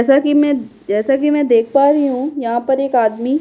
जैसा कि मैं जैसा कि मैं देख पा रही हूँ यहाँ पर एक आदमी --